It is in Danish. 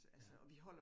Ja